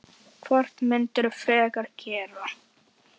Hvort myndirðu frekar gera?